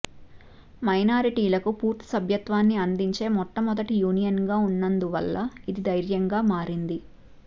మైనారిటీలకు పూర్తి సభ్యత్వాన్ని అందించే మొట్టమొదటి యూనియన్గా ఉన్నందువల్ల ఇది ధైర్యంగా మారింది